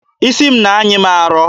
Isi m na-anyị m arọ.